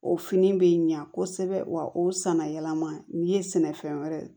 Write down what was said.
O fini bɛ ɲa kosɛbɛ wa o sanayɛlɛma ni ye sɛnɛfɛn wɛrɛ ye